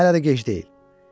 Amma hələ də gec deyil.